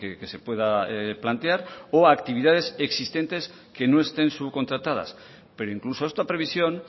que se pueda plantear o actividades existentes que no estén subcontratadas pero incluso esta previsión